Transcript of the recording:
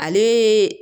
Ale